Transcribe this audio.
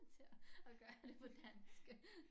Til at gøre det på dansk